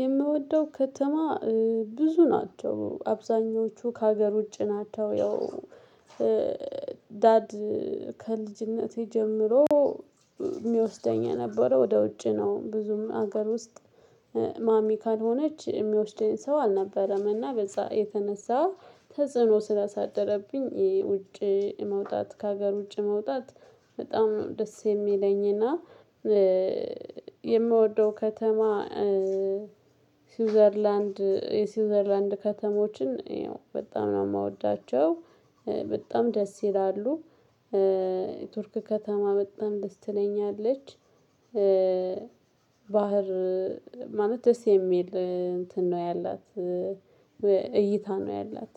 የምወደው ከተማ ብዙ ናቸው። አብዛኞቹ ከሀገር ውጭ ናቸው። ያው ዳድ ከልጅነቴ ጀምሮ የሚወስደኝ የነበረው ወደ ውጭ ነው። ብዙም ሀገር ውስጥ ማሚ ካልሆነች የሚወስደኝ ሰው አልነበረምና በዛ የተነሳ ተጽዕኖ ስላሳደረብኝ የውጭ መውጣት ከሀገር ውጪ መውጣት በጣም ነው ደስ የሚለኝና የምወደው ከተማ ስዊዘርላንድ የስዊዘርላንድ ከተሞችን በጣም ነው የምወዳቸው። በጣም ደስ ይላሉ። የቱርክ ከተማ በጣም ደስ ትለኛለች። ባህር ማለት ደስ የሚል እንትን ነው ያላት። እይታ ነው ያላት።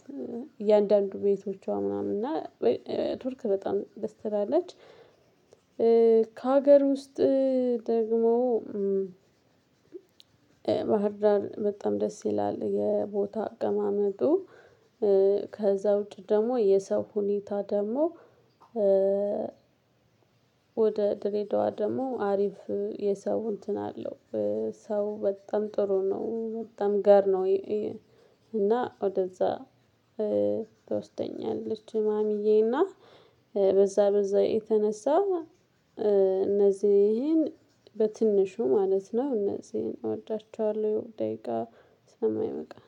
እያንዳንዱ ቤቶቿ ምናምን እና ቱርክ በጣም ደስ ትላለች። ከሀገር ውስጥ ደግሞ ባህርዳር በጣም ደስ ይላል የቦታ አቀማመጡ። ከዛ ውጪ ደግሞ የሰው ሁኔታ ደግሞ ወደ ድሬዳዋ ደግሞ አሪፍ የሰው እንትን አለው። ሰው በጣም ጥሩ ነው በጣም ገር ነው እና ወደዛ ትወስደኛለች ማሚዬና በዛ በዛ የተነሳ እነዚህን በትንሹ ማለት ነው እነዚህን እወዳቸዋለሁ። ደቂቃ ስለማይበቃን።